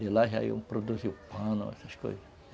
De lá já iam produzir o pano, essas coisas.